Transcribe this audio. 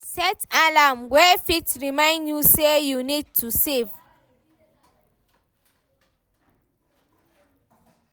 Set alarm wey fit remind you sey you need to save